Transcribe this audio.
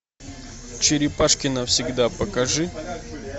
черепашки навсегда покажи